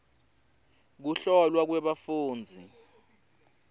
kuhlolwa kwebafundzi